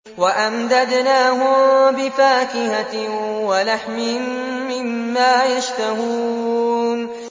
وَأَمْدَدْنَاهُم بِفَاكِهَةٍ وَلَحْمٍ مِّمَّا يَشْتَهُونَ